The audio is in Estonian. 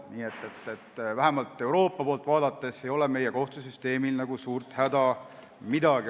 Nii et Euroopa poolt vaadates ei ole meie kohtusüsteemil suurt häda midagi.